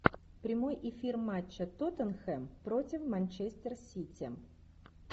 прямой эфир матча тоттенхэм против манчестер сити